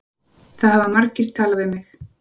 Það hafa margir talað við mig